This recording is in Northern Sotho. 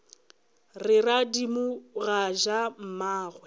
re radimo ga ja mmagwe